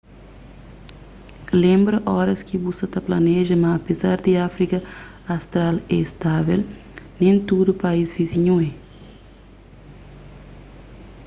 lenbra óras ki bu sa ta planeja ma apézar di áfrika austral é stável nen tudu país vizinhu é